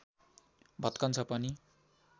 भत्कन्छ पनि